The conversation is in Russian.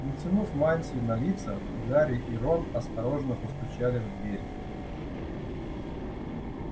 натянув мантии на лица гарри и рон осторожно постучали в дверь